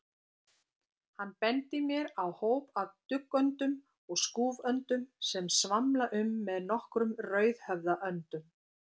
Hann bendir mér á hóp af duggöndum og skúföndum sem svamla um með nokkrum rauðhöfðaöndum.